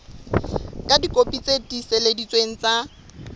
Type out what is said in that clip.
ka dikopi tse tiiseleditsweng tsa